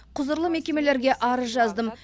құзырлы мекемелерге арыз жаздым